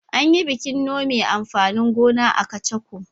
An yi bikin nome amfanin gona a Kacako.